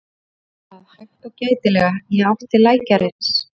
Hún gekk af stað hægt og gætilega í átt til lækjarins.